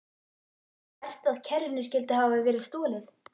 Verst að kerrunni skyldi hafa verið stolið.